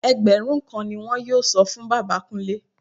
Ẹgbẹ̀rún kan ni wọn yóò san fún bàbá Kúnlé